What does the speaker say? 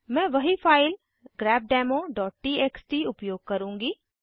मैं वही फाइल grepdemoटीएक्सटी उपयोग करूँगी